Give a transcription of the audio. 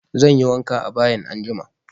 Zanyi wanka a bayin anjima